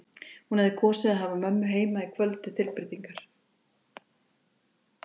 Hún hefði kosið að hafa mömmu heima í kvöld til tilbreytingar.